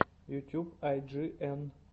ютьюб ай джи эн